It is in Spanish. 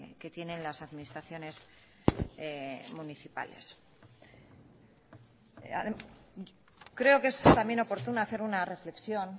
que tienen las administraciones municipales creo que es también oportuno hacer una reflexión